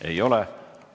Ei ole.